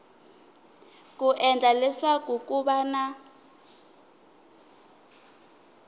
ku endlela leswaku ku va